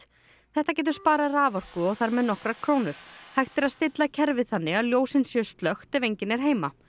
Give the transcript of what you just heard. þetta getur sparað raforku og þar með nokkrar krónur hægt er að stilla kerfið þannig að ljósin séu slökkt ef enginn er heima